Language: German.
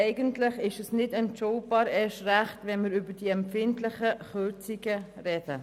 Eigentlich ist dies nicht entschuldbar, erst recht nicht, wenn wir über diese empfindlichen Kürzungen reden.